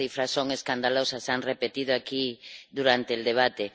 Las cifras son escandalosas, se han repetido aquí durante el debate.